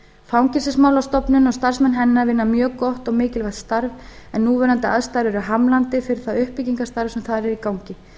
fangelsismálastofnun og starfsmenn hennar vinna mjög gott og mikilvægt starf en núverandi aðstæður eru hamlandi fyrir það uppbyggingarstarf sem þar er í gangi